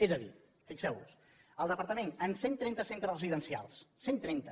és a dir fixeuvos el departament en cent trenta centres residencials cent trenta